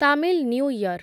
Tamil new year